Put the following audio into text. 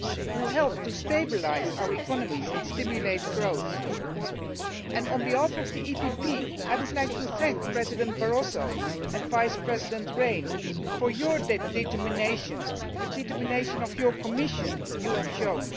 It will help to stabilise our economies and stimulate growth, and on behalf of the EPP I would like to thank President Barroso and Vice President Rehn for the determination the determination of your Commission which you have shown.